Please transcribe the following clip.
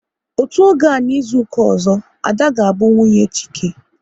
Otú oge a n'izuka ọzọ, Ada ga bụ nwunye Chike